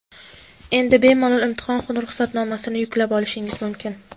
Endi bemalol imtihon ruxsatnomasini yuklab olishingiz mumkin.